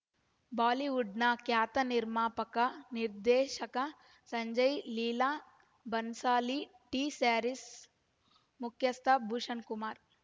ಬಾಲಿವುಡ್‌ನ ಖ್ಯಾತ ನಿರ್ಮಾಪಕ ನಿರ್ದೇಶಕ ಸಂಜಯ್ ಲೀಲಾ ಬನ್ಸಾಲಿ ಟೀ ಸ್ಯಾರೀಸ್ ಮುಖ್ಯಸ್ಥ ಭೂಷಣ್ ಕುಮಾರ್